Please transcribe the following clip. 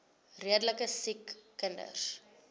redelike siek kinders